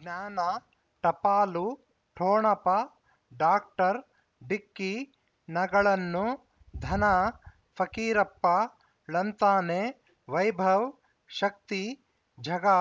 ಜ್ಞಾನ ಟಪಾಲು ಠೊಣಪ ಡಾಕ್ಟರ್ ಢಿಕ್ಕಿ ಣಗಳನು ಧನ ಫಕೀರಪ್ಪ ಳಂತಾನೆ ವೈಭವ್ ಶಕ್ತಿ ಝಗಾ